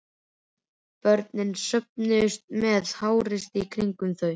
Börnin söfnuðust með háreysti í kringum þau.